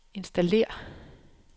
installér